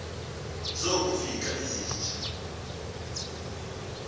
zaku fika izinja